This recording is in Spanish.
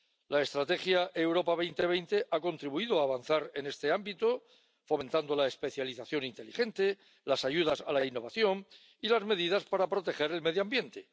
La Estrategia Europa 2020 ha contribuido a avanzar en este ámbito, fomentando la especialización inteligente, las ayudas a la innovación y las medidas para proteger el medio ambiente.